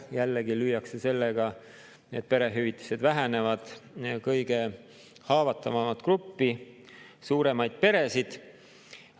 Jällegi lüüakse sellega, et perehüvitised vähenevad, kõige haavatavamat gruppi – suuremaid peresid.